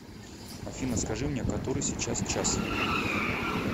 афина скажи мне который сейчас час